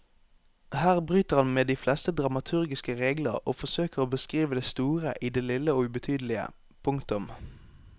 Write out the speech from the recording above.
Her bryter han med de fleste dramaturgiske regler og forsøker å beskrive det store i det lille og ubetydelige. punktum